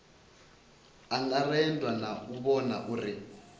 angaredzwa na u vhona uri